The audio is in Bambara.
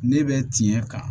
Ne bɛ tiɲɛ kan